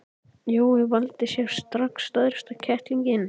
Jói valdi sér strax stærsta kettlinginn.